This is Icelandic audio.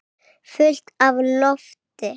Fullt af lofti.